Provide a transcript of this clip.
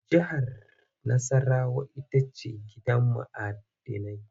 Jihar Nassarawa ita ce gidan ma'dinai.